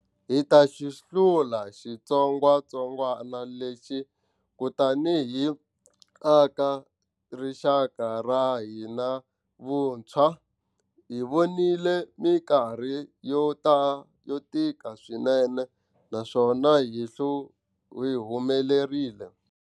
Hi ta xi hlula xitsongwatsongwana lexi kutani hi aka rixaka ra ka hina vuntshwa. Hi vonile mikarhi yo tika swinene naswona hi humelerile.